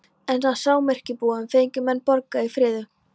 En á samyrkjubúunum fengu menn borgað í fríðu.